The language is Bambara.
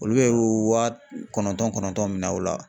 Olu bɛ wa kɔnɔntɔn kɔnɔntɔn minɛn aw la.